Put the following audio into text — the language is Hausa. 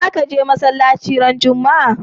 Za ka je masalaci ran Juma'a?